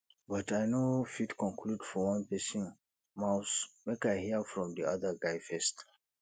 but i no fit conclude for one pesin mouth make i hear from di other guy first